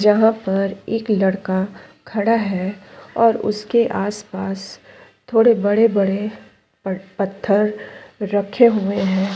जहाँ पर एक लड़का खड़ा है और उसके आस-पास थोड़े बड़े-बड़े प पत्थर रखे हुए है ।